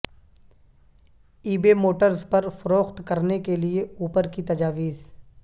ای بے موٹرز پر فروخت کرنے کے لئے اوپر کی تجاویز